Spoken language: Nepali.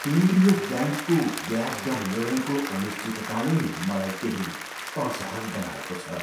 केन्द्रीय ब्याङ्कको ब्याज दर निर्णयको अनिश्चितताले मलाई केही असहज बनाएको छ।